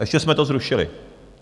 A ještě jsme to zrušili.